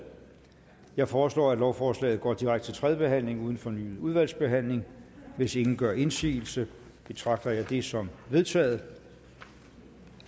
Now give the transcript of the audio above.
jeg foreslår at lovforslaget går direkte til tredje behandling uden fornyet udvalgsbehandling hvis ingen gør indsigelse betragter jeg det som vedtaget